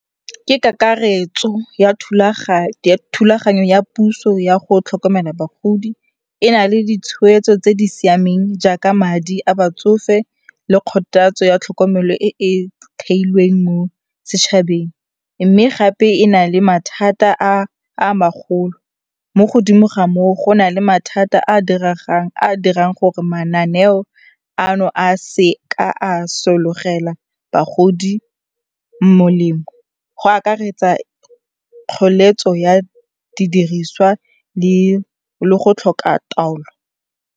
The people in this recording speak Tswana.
Ke kakaretso ya thulaganyo ya puso ya go tlhokomela bagodi. E na le ditshweetso tse di siameng jaaka madi a batsofe le kgothatso ya tlhokomelo e e theilweng mo setšhabeng mme gape e na le mathata a a magolo, mo godimo ga moo go na le mathata a a diregang, a a dirang gore mananeo ano a se ka a sologela bagodi molemo, go akaretsa kgoeletso ya didiriswa le go tlhoka taolo.